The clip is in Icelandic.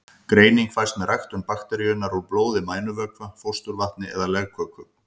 Greining fæst með ræktun bakteríunnar úr blóði, mænuvökva, fósturvatni eða legköku.